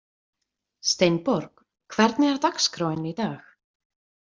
Steinborg, hvernig er dagskráin í dag?